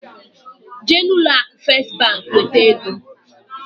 Jee na ụlọ akụ Fest bank weta egoǃ